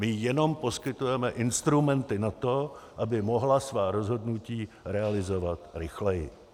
My jenom poskytujeme instrumenty na to, aby mohla svá rozhodnutí realizovat rychleji.